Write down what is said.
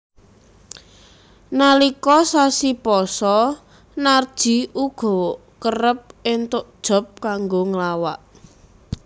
Nalika sasi pasa Narji uga kerep entuk job kanggo nglawak